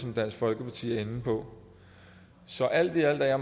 det dansk folkeparti er inde på så alt i alt er